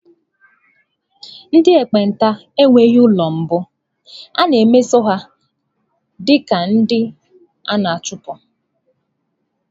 Ndị ekpenta enweghị ụlọ mbụ, a na-emeso ha dị ka ndị a na-achụpụ.